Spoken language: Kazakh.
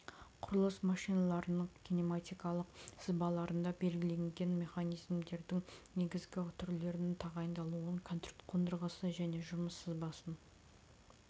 құрылыс машиналарының кинаматикалық сызбаларында белгіленген механизмдердің негізгі түрлерін тағайындалуын конструкциясын қондырғысы және жұмыс сызбасын